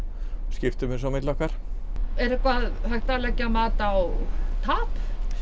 skiptum þessu á milli okkar er eitthvað hægt að leggja mat á tap